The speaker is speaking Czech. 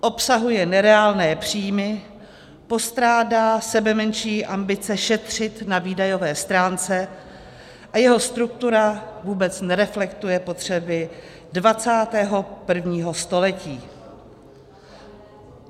Obsahuje nereálné příjmy, postrádá sebemenší ambice šetřit na výdajové stránce a jeho struktura vůbec nereflektuje potřeby 21. století.